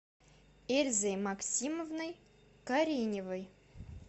эльзой максимовной кореневой